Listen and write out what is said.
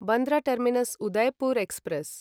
Bandra terminus Udaipur express